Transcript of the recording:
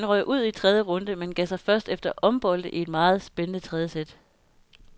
Han røg ud i tredje runde, men gav sig først efter ombolde i et meget spændende tredje sæt.